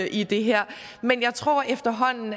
i det her men jeg tror